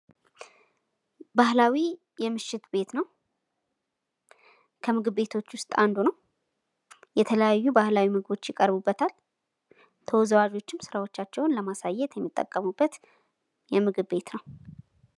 ባህላዊ የምሽት ቤት ነው። ከምግብ ቤቶች ውስጥ አንዱ ነው። የተለያዩ ባህላዊ ምግቦች ይቀርቡበታል። ተወዛዋዦች ስራቸውን ለማቅረብ የሚጠቀሙበት የምግብ ቤት ነው።